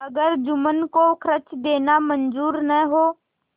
अगर जुम्मन को खर्च देना मंजूर न हो